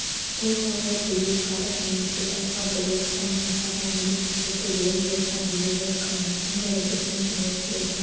бұл сарай бүлік шығарып немесе басқа бірер қылмыс жасаған еріксіздерді өлім жазасына бұйырып қамайтын жорабектің түрмесі еді